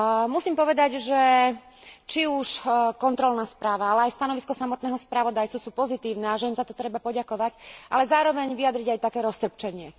Musím povedať, že či už kontrolná správa ale aj stanovisko samotného spravodajcu sú pozitívne a že im za to treba poďakovať, ale zároveň vyjadriť aj také roztrpčenie.